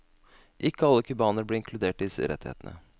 Ikke alle cubanere ble inkludert i disse rettighetene.